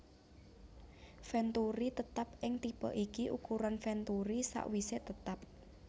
Venturi Tetap ing tipe ikii ukuran venturi sakwise tetap